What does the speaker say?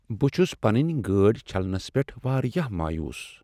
بہٕ چُھس پننِۍ گاڑِۍ چھلنس پیٹھ واریاہ مایوس ۔